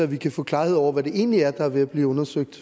vi kan få klarhed over hvad det egentlig er der er ved at blive undersøgt